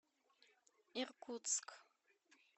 иркутск